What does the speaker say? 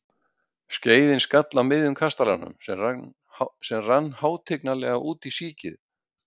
Skeiðin skall á miðjun kastalanum, sem rann hátignarlega út í síkið.